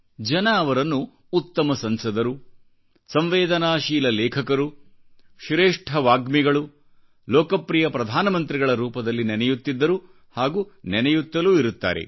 ಜನ ಅವರನ್ನು ಉತ್ತಮ ಸಂಸದರು ಸಂವೇದನಾಶೀಲ ಲೇಖಕರು ಶ್ರೇಷ್ಠ ವಾಗ್ಮಿಗಳು ಲೋಕಪ್ರಿಯ ಪ್ರಧಾನ ಮಂತ್ರಿಗಳ ರೂಪದಲ್ಲಿ ನೆನೆಯುತ್ತಿದ್ದರುಹಾಗೂ ನೆನೆಯುತ್ತಲೂ ಇರುತ್ತಾರೆ